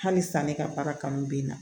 Halisa ne ka baara kanu bɛ n na